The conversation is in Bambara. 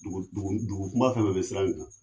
Dugu kunba fɛn be siran in